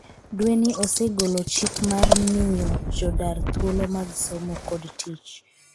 dweni osegolo chik mar miyo jodar thuolo mag somo kod tich.